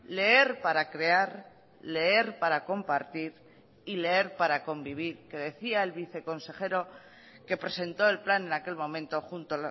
leer para crear leer para compartir y leer para convivir que decía el viceconsejero que presentó el plan en aquel momento junto